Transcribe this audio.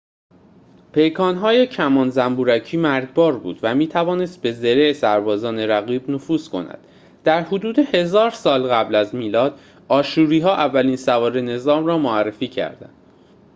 پیکان‌های کمان زنبورکی مرگبار بود و می‌توانست به زره سربازان رقیب نفوذ کند در حدود ۱۰۰۰ سال قبل از میلاد آشوری‌ها اولین سواره نظام را معرفی کردند